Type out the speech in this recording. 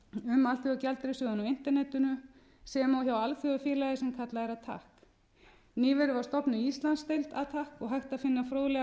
um alþjóðagjaldeyrissjóðinn á internetinu sem og hjá alþjóðafélagi sem kallað attac nýverið var stofnuð íslandsdeild ætti og hægt að finna fróðlegar greinar